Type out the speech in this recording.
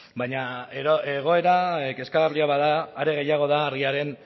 baina egoera kezkagarria bada are gehiago da argiaren